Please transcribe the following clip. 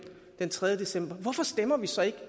den tredje december hvorfor stemmer vi så ikke